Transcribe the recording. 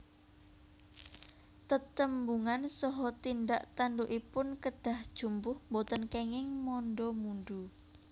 Tetembungan saha tindak tandukipun kedah jumbuh boten kenging manda mundu